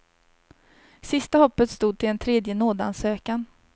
Sista hoppet stod till en tredje nådeansökan.